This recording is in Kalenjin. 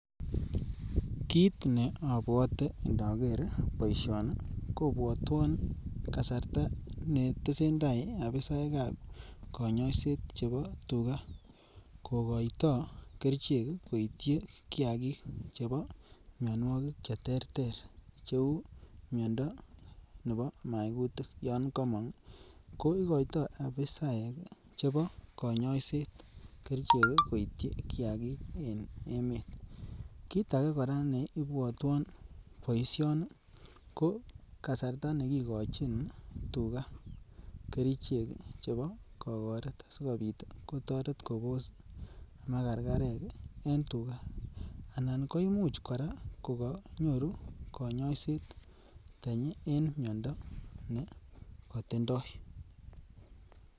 Kit ne obwote inoker boishoni kobwotwon kasarta ne tesentai abisaekab konyoiset chebo tuga kogoito kerichek koityi kiagik chebo minwokik che terter cheu miondo nebo maigutik yon komong ii ko goito abisaekab konyoiset kerichek koityi kiagik en emet. Kit agee koraa nebwotwon boishoni ko kasarta ne kigochin tuga kerichek chebo kogoret asikopit kotoret kobos makarkarek en tuga anan koimuch koraa ko konyoru konyoiset tenyi en miondo ne kotindoi